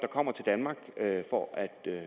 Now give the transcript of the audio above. kommer til danmark for at